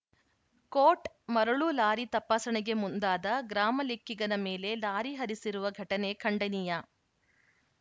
coat ಮರಳು lorry ತಪಾಸಣೆಗೆ ಮುಂದಾದ ಗ್ರಾಮಲೆಕ್ಕಿಗನ ಮೇಲೆ ಲಾರಿ ಹರಿಸಿರುವ ಘಟನೆ ಖಂಡನೀಯ